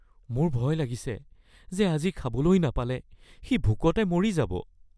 মোৰ ভয় লাগিছে যে আজি খাবলৈ নাপালে সি ভোকতে মৰি যাব